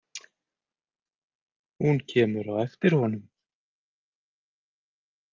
Hún kemur á eftir honum.